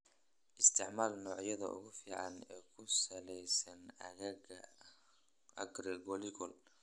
Isticmaal noocyada ugu fiican ee ku salaysan aagga agroecological.